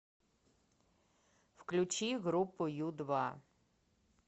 включи группу ю два